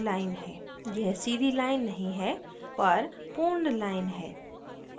यह सीधी line नहीं है पर पूर्ण line है